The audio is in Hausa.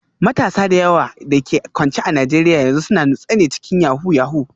Matasa da yawa da ke kwance a Najeriya yanzu suna nutsewa cikin yahoo yahoo